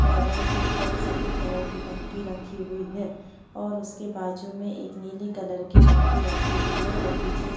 यह घर के ऊपर एक सफेद कलर की टंकी रखी हुई है और उसके बाजू में एक नीली कलर की टंकी रखी हुई है और पीछे स --